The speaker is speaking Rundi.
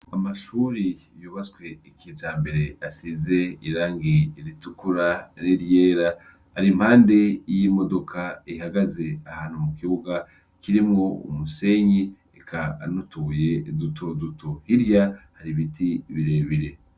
Amashure yubatswe kijambere asize irangi ritukura n'iryera, ari impande y'imodoka ihagaze ahantu mu kibuga kirimwo umusenyi eka n'utubuye duto duto, hirya hari biti birebire.